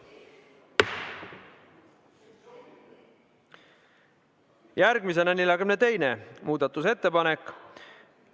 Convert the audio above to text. Järgmine on 42. muudatusettepanek.